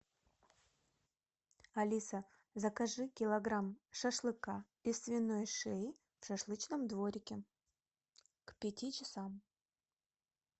алиса закажи килограмм шашлыка из свиной шеи в шашлычном дворике к пяти часам